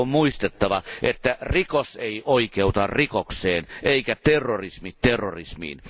On muistettava, että rikos ei oikeuta rikokseen eikä terrorismi terrorismiin.